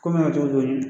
Ko min bɛ ka t'o